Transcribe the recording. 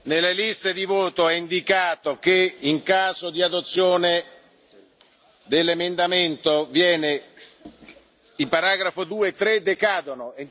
Nelle liste di voto è indicato che, in caso di approvazione dell'emendamento, i paragrafi 2 e 3 decadono.